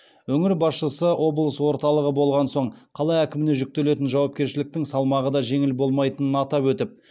өңір басшысы облыс орталығы болған соң қала әкіміне жүктелетін жауапкершіліктің салмағы да жеңіл болмайтынын атап өтіп